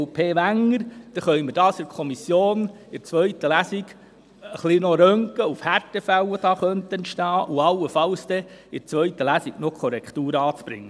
So können wir die ganze Sache in der Kommission im Hinblick auf Härtefälle prüfen und allenfalls in der zweiten Lesung noch Korrekturen anbringen.